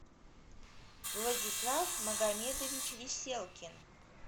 владислав магомедович веселкин